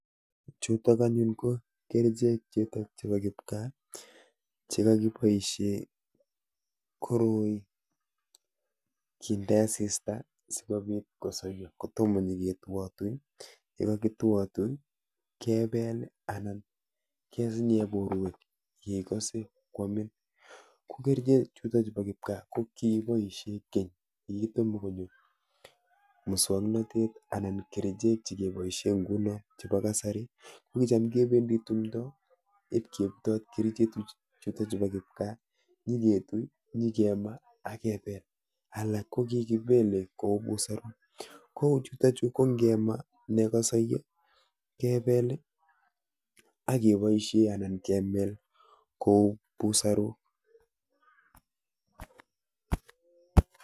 Chuutokanyun ko kerichek chete chebo kipkaa chekakiboisie koroi kinde asista sikobiit kosaiyo kotomo nyegetuatui , yekagituatui kepeel anan kesinye borwek ngikase kwamin. ko kerichek chuutokchu pa kipkaa ko kigiboisie keny kitomo konyo musong'natet anan kerichek chekeboisie nguno chebo kasari ko kicham kebendi tumdo ipkebutot kerichek chuutochu pa kipkaa nyiketui , nyikema, akepeel. alak ko kikipeele kouu busaruk. kouu chuutochu kongemaa, nekasaiyo, kepeel akeboisie anan kemel kouu busaruk